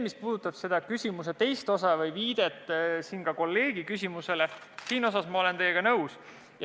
Mis puudutab küsimuse teist osa ja viidet ka kolleegi küsimusele, siis selles osas ma olen teiega nõus.